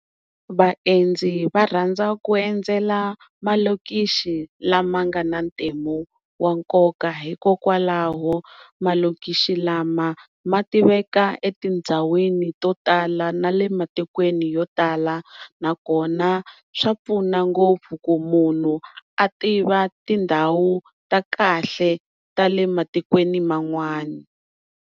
Vaendzi va rhandza ku endzela malokishi lama nga na matimu ya nkoka hikokwalaho malokishi lama ma tiveka etindhawini to tala na le matikweni yo tala nakona swa pfuna ngopfu ku munhu a tiva tindhawu ta kahle ta le matikweni man'wani.